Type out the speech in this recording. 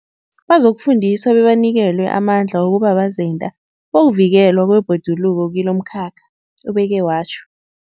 Bazokufundiswa bebanikelwe amandla wokuba bazenda bokuvikelwa kwebhoduluko kilomkhakha, ubeke watjho.